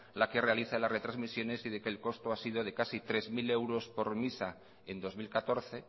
la que realiza las retransmisiones y de que el costo ha sido de casi tres mil euros por misa en dos mil catorce